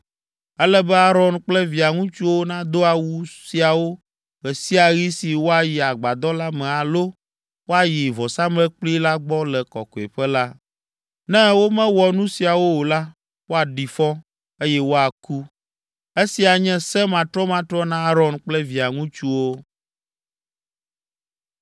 Ele be Aron kple via ŋutsuwo nado awu siawo ɣe sia ɣi si woayi agbadɔ la me alo woayi vɔsamlekpui la gbɔ le Kɔkɔeƒe la. Ne womewɔ nu siawo o la, woaɖi fɔ, eye woaku. Esia nye se matrɔmatrɔ na Aron kple via ŋutsuwo.”